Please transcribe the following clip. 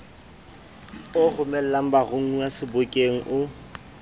o romelang baromuwa sebokeng o